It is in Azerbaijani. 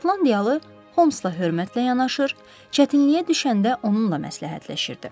Şotlandiyalı Homsla hörmətlə yanaşır, çətinliyə düşəndə onunla məsləhətləşirdi.